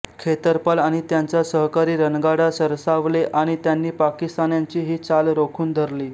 खेतरपाल आणि त्यांचा सहकारी रणगाडा सरसावले आणि त्यांनी पाकिस्तान्यांची ही चाल रोखून धरली